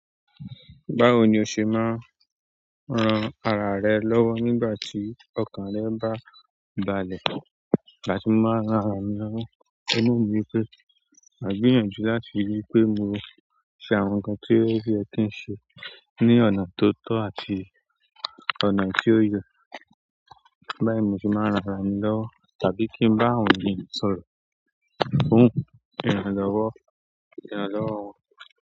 Báwo ni o ṣe máa ń ran ara rẹ lọ́wọ́ nígbà tí ọkàn rẹ bá balẹ̀? Ni igbáti máa ran ara mi lọ́wọ́, òun náà ní wipé, máa gbìyànjú láti rí pé mo ṣe àwọn nǹkan tí ó yẹ kí n ṣe ní ọ̀nà tó tọ́ àti ọ̀nà tí ó yẹ. Nítorí ẹ ní Mósè máa ń ràn arami lọwọ, tàbí kín bá àwọn ẹ̀yán sọ̀rọ̀.